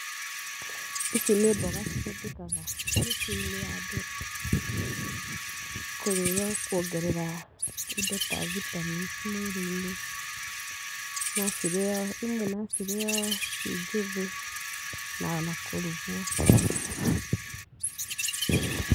Ici nĩ mboga iria cihũthĩkaga mĩciĩ-inĩ ya andũ kũrĩo kuongerea indo ta vitamins mwĩrĩ-inĩ. No cirĩo, imwe no cirĩo ciĩ njĩthi, na o na kũrugwo.